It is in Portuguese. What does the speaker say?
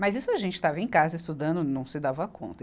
Mas isso a gente estava em casa estudando e não se dava conta.